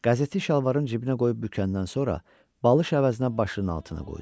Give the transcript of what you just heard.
Qəzetçi şalvarını cibinə qoyub bükəndən sonra, balış əvəzinə başının altına qoydu.